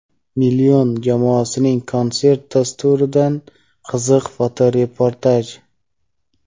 "Million" jamoasining konsert dasturidan qiziq fotoreportaj.